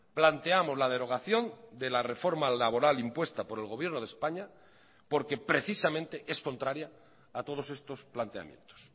planteamos la derogación de la reforma laboral impuesta por el gobierno de españa porque precisamente es contraria a todos estos planteamientos